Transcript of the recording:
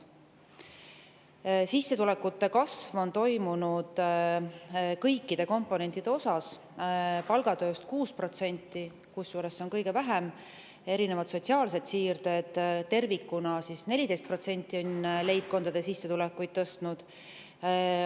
Sissetulekute kasv on toimunud kõikide komponentide osas: palgatöö puhul 6%, kusjuures see kasv on kõige väiksem, ning erinevad sotsiaalsed siirded tervikuna on 14% leibkondade sissetulekuid tõstnud.